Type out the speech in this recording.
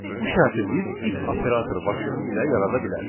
Bu şərti biz if operatoru vasitəsilə yarada bilərik.